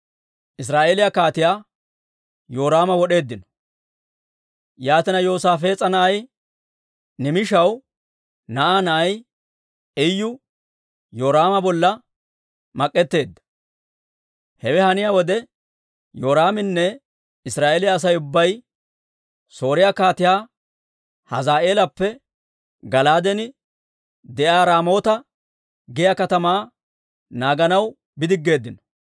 Yaatina Yoosaafees'a na'ay, Nimishaw na'aa na'ay Iyu Yoraama bolla mak'etteedda. Hewe haniyaa wode, Yoraaminne Israa'eeliyaa Asay ubbay Sooriyaa Kaatiyaa Hazaa'eelappe Gala'aaden de'iyaa Raamoota giyaa katamaa naaganaw bidiggeeddino.